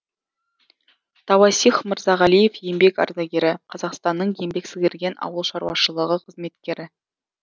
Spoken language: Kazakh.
тауасих мырзағалиев еңбек ардагері қазақстанның еңбек сіңірген ауыл шаруашылығы қызметкері